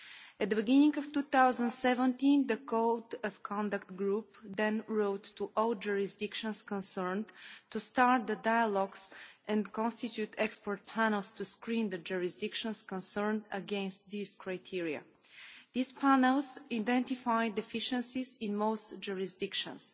At the beginning of 2017, the Code of Conduct Group then wrote to all the jurisdictions concerned to start the dialogues, and constituted expert panels to screen the jurisdictions concerned against the criteria. These panels identified deficiencies in most jurisdictions.